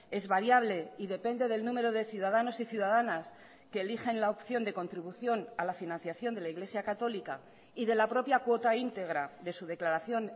es variable y depende del número de ciudadanos y ciudadanas que eligen la opción de contribución a la financiación de la iglesia católica y de la propia cuota íntegra de su declaración